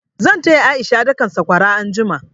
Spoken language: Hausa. Zan taya A'isha dakan sakwara anjima.